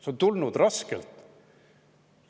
See on tulnud raskelt.